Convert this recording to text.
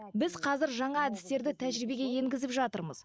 біз қазір жаңа әдістерді тәжірибеге енгізіп жатырмыз